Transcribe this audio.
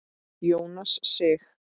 Jónas Sig.